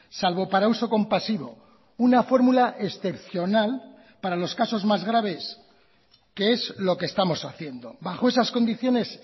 salvo para uso compasivo una fórmula excepcional para los casos más graves que es lo que estamos haciendo bajo esas condiciones